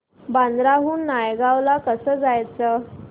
बांद्रा हून नायगाव ला कसं जायचं